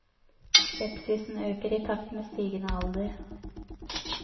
Skepsisen øker i takt med stigende alder.